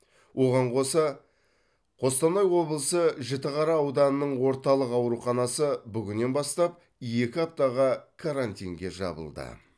оған қоса қостанай облысы жітіқара ауданының орталық ауруханасы бүгіннен бастап екі аптаға карантинге жабылды